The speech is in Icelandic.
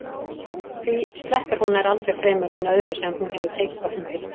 Því sleppir hún nær aldrei fremur en öðru sem hún hefur tekist á hendur.